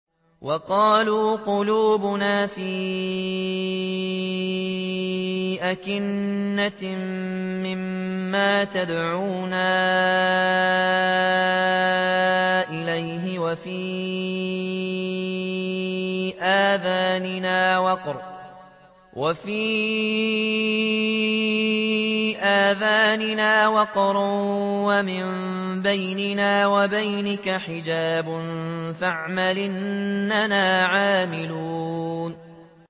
وَقَالُوا قُلُوبُنَا فِي أَكِنَّةٍ مِّمَّا تَدْعُونَا إِلَيْهِ وَفِي آذَانِنَا وَقْرٌ وَمِن بَيْنِنَا وَبَيْنِكَ حِجَابٌ فَاعْمَلْ إِنَّنَا عَامِلُونَ